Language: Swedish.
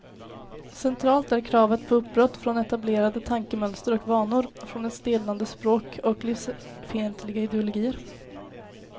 Centralt är kravet på uppbrott från etablerade tankemönster och vanor, från ett stelnande språk och livsfientliga ideologier.